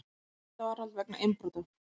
Í gæsluvarðhald vegna innbrota